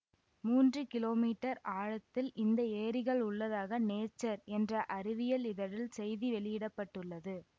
மூன்று kilometre ஆழத்தில் இந்த ஏரிகள் உள்ளதாக நேச்சர் என்ற அறிவியல் இதழில் செய்தி வெளியிட பட்டுள்ளது